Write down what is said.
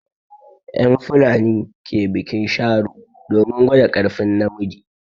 En fulani ke biƙin sharo domin gwaɗa karfin na miji.